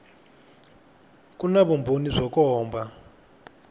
ku na vumbhoni byo komba